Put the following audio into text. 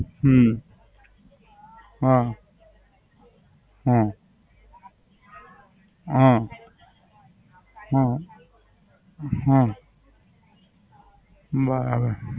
હમ હા. હા. હા. હમ હમ હમ બરાબર